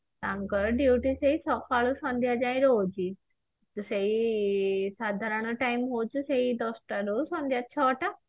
ତାଙ୍କର duty ସେଇ ସକାଳୁ ସନ୍ଧ୍ଯା ଯାଏ ରହୁଛି ସେଇ ସାଧାରଣ time ହାଉଛି ସେଇ ଦଶଟାରୁ ସନ୍ଧ୍ୟା ଛଅଟା